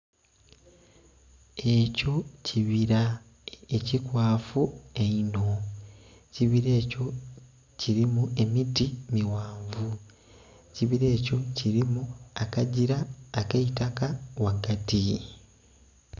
Ekyo kibira ekikwafu einho, ekibira ekyo kirimu emiti mighanvu ekibira ekyo kirimu akagira ak'eitaka ghagati.